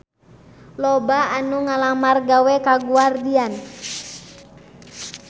Loba anu ngalamar gawe ka Guardian